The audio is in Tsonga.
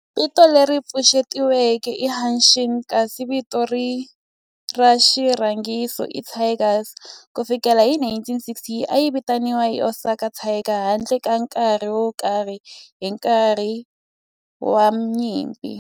Vito leri pfuxetiweke i Hanshin kasi vito ra xirhangiso i Tigers. Ku fikela hi 1960, a yi vitaniwa Osaka Tigers handle ka nkarhi wo karhi hi nkarhi wa nyimpi.